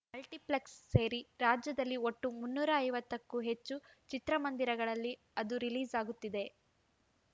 multiplex ಸೇರಿ ರಾಜ್ಯದಲ್ಲಿ ಒಟ್ಟು ಮುನ್ನೂರ ಐವತ್ತಕ್ಕೂ ಹೆಚ್ಚು ಚಿತ್ರಮಂದಿರಗಳಲ್ಲಿ ಅದು ರಿಲೀಸ್‌ ಆಗುತ್ತಿದೆ